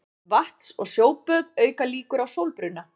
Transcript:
Vatns- og sjóböð auka líkur á sólbruna.